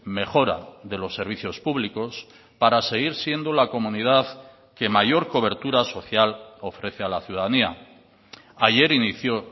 mejora de los servicios públicos para seguir siendo la comunidad que mayor cobertura social ofrece a la ciudadanía ayer inició